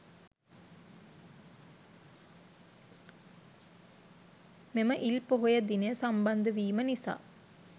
මෙම ඉල් පොහොය දිනය සම්බන්ධවීම නිසා